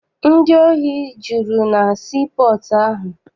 Ndị ohi juru na sii pọọtụ ahụ.